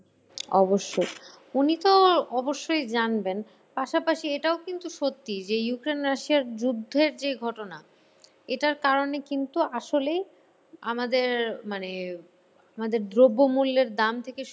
অবশ্যই, উনি তো অবশ্যই জানবেন। পাশাপাশি এটাও কিন্তু সত্যি যে Ukraine Russia র যুদ্ধের যে ঘটনা এটার কারণে কিন্তু আসলে আমাদের মানে, আমাদের দ্রব্যমূল্যের দাম থেকে